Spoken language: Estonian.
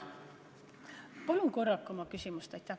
Palun korrake oma küsimust!